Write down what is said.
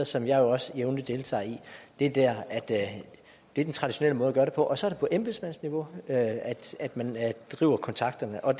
som jeg jo også jævnligt deltager i i det er den traditionelle måde at gøre det på og så er det på embedsmandsniveau at man driver kontakterne og